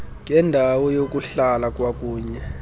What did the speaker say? ngendawo yokuhlala kwakunye